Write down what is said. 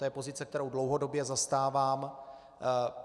To je pozice, kterou dlouhodobě zastávám.